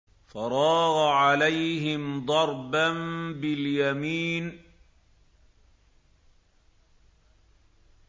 فَرَاغَ عَلَيْهِمْ ضَرْبًا بِالْيَمِينِ